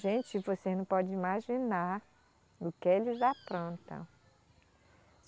Gente, vocês não podem imaginar o que eles aprontam.